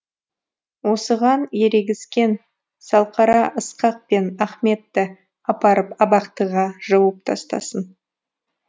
осыған ерегіскен салқара ысқақ пен ахметті апарып абақтыға жауып тастасын